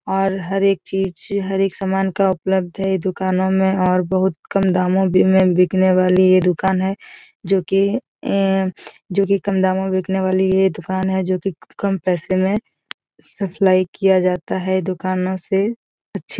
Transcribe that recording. और हर एक चीज़ हर एक सामन का उपलब्ध है दुकानों में और बहुत कम दामों भी में बिकने वाली ये दुकान है जो की एन जो की कम दामों में बिकने वाली ये दुकान है जो की कम पैसों में सप्लाई किया जाता है दुकानों से अच्छी --